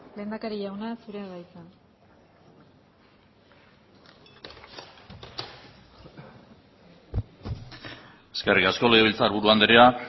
lehendakari jauna zurea da hitza eskerrik asko legebiltzarburu andrea